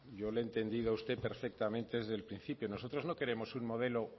yo le he entendido a usted perfectamente desde el principio nosotros no queremos un modelo